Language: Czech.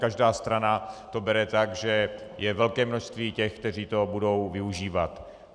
Každá strana to bere tak, že je velké množství těch, kteří toho budou využívat.